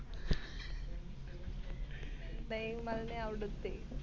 नाही मला नाही आवडत ते.